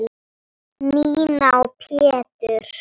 Nína og Pétur.